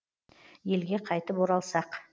елге қайтып оралсақ